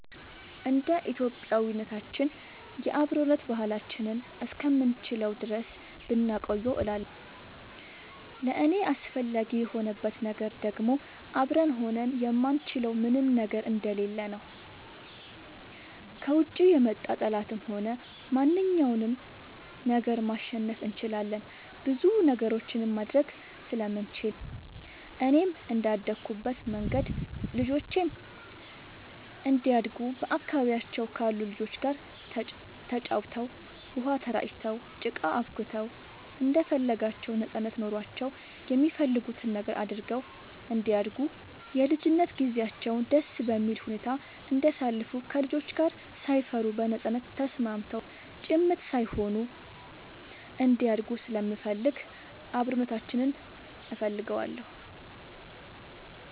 እንደ ኢትዮጵያዊነታችን የአብሮነት ባህላችንን እስከምንችለው ድረስ ብናቆየው እላለሁኝ። ለእኔ አስፈላጊ የሆንበት ነገር ደግሞ አብረን ሆነን የማንችለው ምንም ነገር ስለሌለ ነው። ከውጭ የመጣ ጠላትንም ሆነ ማንኛውንም ነገር ማሸነፍ እንችላለን ብዙ ነገሮችንም ማድረግ ስለምንችል፣ እኔም እንደአደኩበት መንገድ ልጆቼም እንዲያድጉ በአካባቢያቸው ካሉ ልጆች ጋር ተጫውተው, ውሃ ተራጭተው, ጭቃ አቡክተው እንደፈለጋቸው ነጻነት ኖሯቸው የሚፈልጉትን ነገር አድርገው እንዲያድጉ የልጅነት ጊዜያቸውን ደስ በሚል ሁኔታ እንዲያሳልፉ ከልጆች ጋር ሳይፈሩ በነጻነት ተስማምተው ጭምት ሳይሆኑ እንዲያድጉ ስለምፈልግ አብሮነታችንን እፈልገዋለሁ።